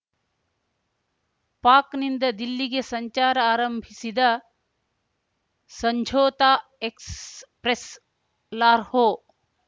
ಪಾಕ್‌ನಿಂದ ದಿಲ್ಲಿಗೆ ಸಂಚಾರ ಆರಂಭಿಸಿದ ಸಂಝೋತಾ ಎಕ್ಸ್‌ಪ್ರೆಸ್‌ ಲಾರ್‌ಹೋ